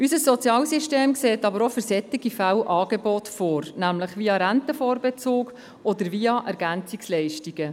Unser Sozialsystem sieht aber auch für solche Fälle Angebote vor, nämlich via Rentenvorbezug oder via EL.